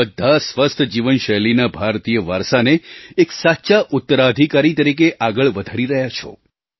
તમે બધાં સ્વસ્થ જીવનશૈલીના ભારતીય વારસાને એક સાચા ઉત્તરાધિકારી તરીકે આગળ વધારી રહ્યા છો